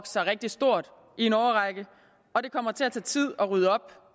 sig rigtig stort i en årrække og det kommer til at tage tid at rydde op